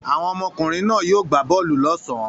Àwọn ọmọkùnrin náà yóò gbá bọ́ọ́lù lọ́sàn-án.